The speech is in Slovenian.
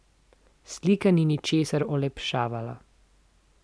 Slika ni ničesar olepševala.